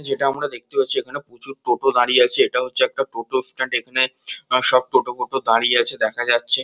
যেটা আমরা দেখতে পাচ্ছি এখানে প্রচুর টোটো দাঁড়িয়ে আছে এটা হচ্ছে একটা টোটো স্ট্যান্ড এখানে সব টোটো হোটো দাঁড়িয়ে আছে দেখা যাচ্ছে।